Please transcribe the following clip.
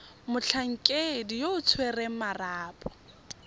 motlhankedi yo o tshwereng marapo